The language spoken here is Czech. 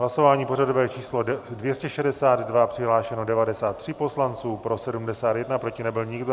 Hlasování pořadové číslo 262, přihlášeno 93 poslanců, pro 71, proti nebyl nikdo.